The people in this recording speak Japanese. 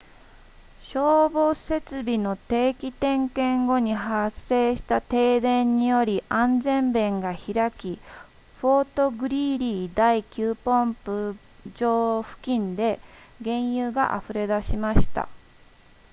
消防設備の定期点検後に発生した停電により安全弁が開きフォートグリーリー第9ポンプ場付近で原油が溢れ出しました